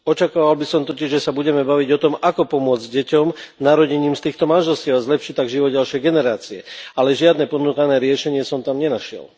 Očakával by som totiž, že sa budeme baviť o tom, ako pomôcť deťom narodeným z týchto manželstiev a zlepšiť tak život ďalšej generácie, ale žiadne ponúkané riešenie som tam nenašiel.